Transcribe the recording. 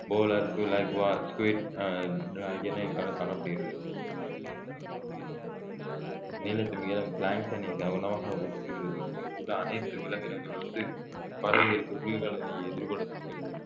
polar ஆஹ் ஆகியன இங்கு கா~ காணப்படுகிறது மிகப்பெரிய கடல்வாழ் உயிரினமான நீலத் திமிங்கலம் உணவாக உட்கொள்கிறது இங்குள்ள அனைத்து விலங்கினங்கள் வந்து பறவைகள் குளிர்கால நிலையை எதிர்கொள்ள தங்கள்